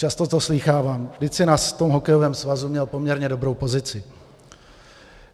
Často to slýchávám: Vždyť jsi na tom hokejovém svazu měl poměrně dobrou pozici.